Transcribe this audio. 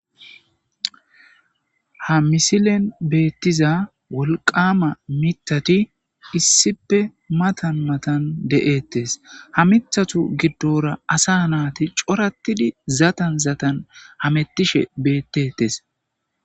ha misilen beettiza wolqama mithati issipe matan matan de7ettes ha mithatu giddora asa naati coratidi zatan zatan hamettishe beettettes